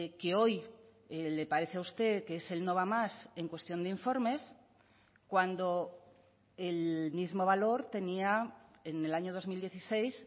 que hoy le parece a usted que es el no va más en cuestión de informes cuando el mismo valor tenía en el año dos mil dieciséis